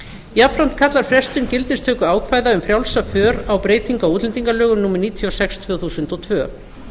jafnframt kallar frestun gildistöku ákvæða um frjálsa för á breytingar á útlendingalögum númer níutíu og sex tvö þúsund og tvö